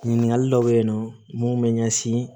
Ɲininkali dɔw bɛ yen nɔ mun bɛ ɲɛsin